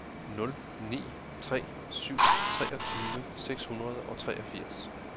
nul ni tre syv treogtyve seks hundrede og treogfirs